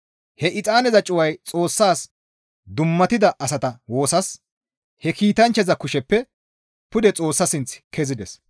He exaaneza cuway Xoossas dummatida asata woosas he kiitanchchaza kusheppe pude Xoossa sinth kezides.